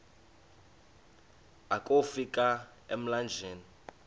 akofi ka emlanjeni